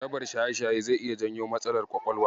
Jarabar shaye-shaye zai iya janyo matsalar ƙwaƙwalwa.